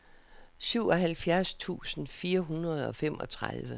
syvoghalvfjerds tusind fire hundrede og femogtredive